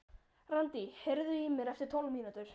Randí, heyrðu í mér eftir tólf mínútur.